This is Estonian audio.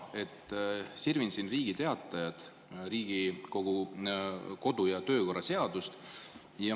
Sirvin siin Riigi Teatajas Riigikogu kodu- ja töökorra seadust.